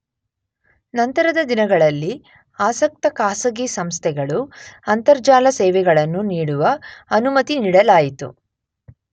ನಂತರದ ದಿನಗಳಲ್ಲಿ ಆಸಕ್ತ ಖಾಸಗಿ ಸಂಸ್ಥೆಗಳು ಅಂತರ್ಜಾಲ ಸೇವೆಗಳನ್ನು ನೀಡುವ ಅನುಮತಿ ನೀಡಲಾಯಿತು.